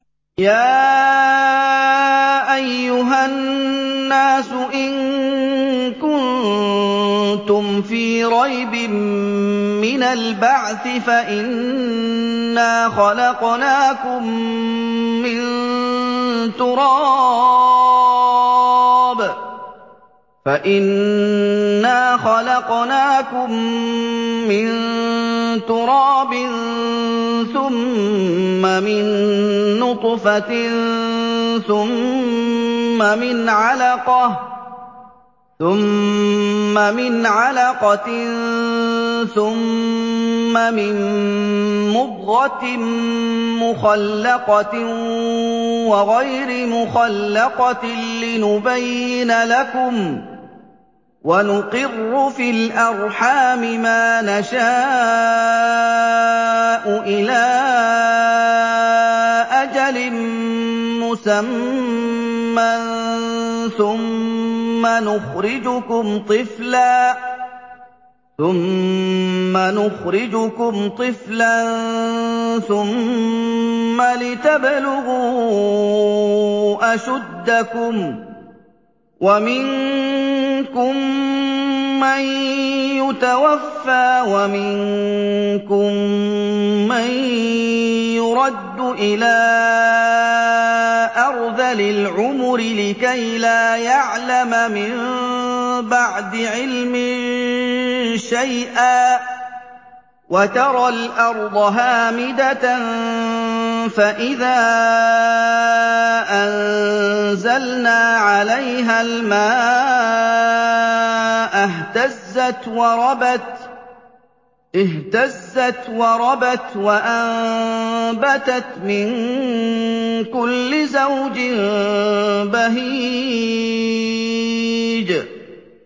يَا أَيُّهَا النَّاسُ إِن كُنتُمْ فِي رَيْبٍ مِّنَ الْبَعْثِ فَإِنَّا خَلَقْنَاكُم مِّن تُرَابٍ ثُمَّ مِن نُّطْفَةٍ ثُمَّ مِنْ عَلَقَةٍ ثُمَّ مِن مُّضْغَةٍ مُّخَلَّقَةٍ وَغَيْرِ مُخَلَّقَةٍ لِّنُبَيِّنَ لَكُمْ ۚ وَنُقِرُّ فِي الْأَرْحَامِ مَا نَشَاءُ إِلَىٰ أَجَلٍ مُّسَمًّى ثُمَّ نُخْرِجُكُمْ طِفْلًا ثُمَّ لِتَبْلُغُوا أَشُدَّكُمْ ۖ وَمِنكُم مَّن يُتَوَفَّىٰ وَمِنكُم مَّن يُرَدُّ إِلَىٰ أَرْذَلِ الْعُمُرِ لِكَيْلَا يَعْلَمَ مِن بَعْدِ عِلْمٍ شَيْئًا ۚ وَتَرَى الْأَرْضَ هَامِدَةً فَإِذَا أَنزَلْنَا عَلَيْهَا الْمَاءَ اهْتَزَّتْ وَرَبَتْ وَأَنبَتَتْ مِن كُلِّ زَوْجٍ بَهِيجٍ